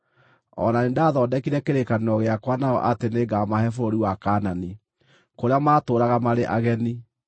O na nĩndathondekire kĩrĩkanĩro gĩakwa nao atĩ nĩngamahe bũrũri wa Kaanani, kũrĩa maatũũraga marĩ ageni.